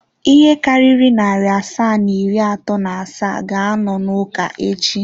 Ihe karịrị narị asaa na iri atọ na asaa ga-anọ n'ụka echi.